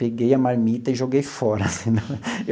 Peguei a marmita e joguei fora falei não.